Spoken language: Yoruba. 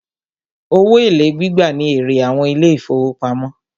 Owó èlé gbígbà ní èrè àwọn ilé ìfọwọ́pamo.